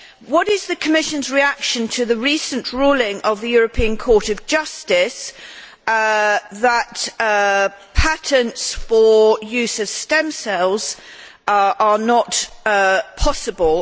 What is the Commission's reaction to the recent ruling of the European Court of Justice that patents for the use of stem cells are not possible?